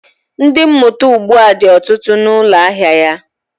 Ndi, mmụta ugbu a dị ọtụtụ na ụlọ ahịa ya